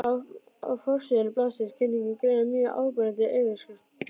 Á forsíðu blaðsins var kynning greinarinnar mjög áberandi með yfirskriftinni.